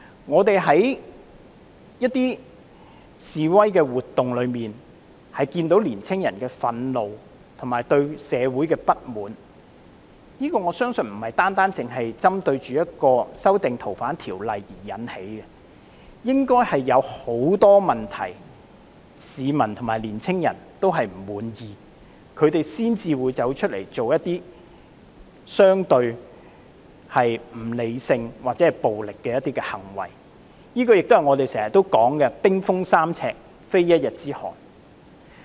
我們在示威活動中看見年青人的憤怒，以及對社會的不滿，我相信這並非單單由修訂《逃犯條例》而引起的，應該是有很多問題令市民和年青人不滿意，他們才會出來做出相對不理性或暴力的行為，亦是我們經常說的"冰封三尺，非一日之寒"。